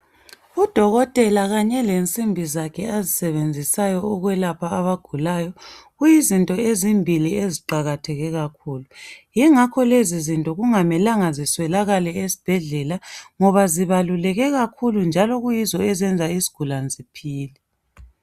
Udokotela kanye lensimbi zakhe azisebenzisayo ukwelapha abagulayo kuyizinto ezimbili eziqakatheke kakhulu. Yingakho lezizinto kungamelanga ziswelakale esibhedlela ngoba zibaluleke kakhulu njalo kuyizo ezenza isigulane siphile.